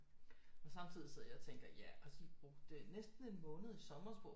Men samtidigt sidder jeg og tænker ja og de brugte næsten en måned i sommer på